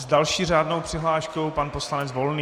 S další řádnou přihláškou pan poslanec Volný.